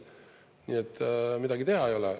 Nii et midagi teha ei ole.